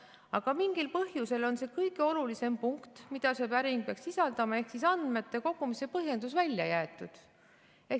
Aga mingil põhjusel on see kõige olulisem punkt, mida see päring peaks sisaldama, ehk andmete kogumise põhjendus, välja jäetud.